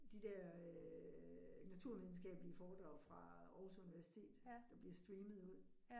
De der øh naturvidenskabelige forskere fra Aarhus Universitet, der bliver streamet ud